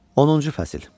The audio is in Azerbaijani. Onuncu fəsil.